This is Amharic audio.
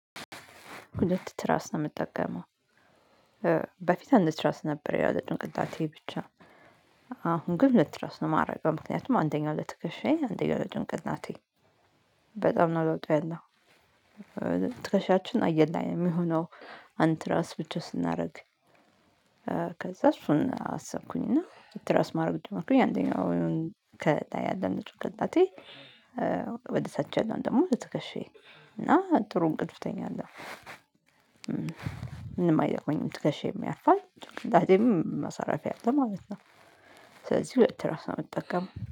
ሁለት ትራስ ነው ምጠቀመው። በፊት አንድ ትራስ ነበር ያው ለጭንቅላቴ ብቻ። አሁን ግን ሁለት ትራስ ነው ማረገው ምክንያቱም አንደኛው ለትከሻዬ አንደኛው ለጭንቅላቴ። በጣም ነው ለውጥ ያለው። ትከሻችን አየር ላይ ነው ሚሆነው አንድ ትራስ ብቻ ስናደርግ። ከዛ እሱን አሰብኩኝ እና ትራስ ማድረግ ጀምሬ አንደኛው ወይም ከታያለህ ምጥር ከታቴ ወደ ታች ያለውን ደሞ በትከሻዬ እና ጥሩ እንቅልፍ እተኛለሁ። ምንም አይደክመኝም ትከሻዬም ያርፋል እናቴም ማሳረፊያ አለ ማለት ነው። ስለዚህ ብትራስ ነው የምጠቀመው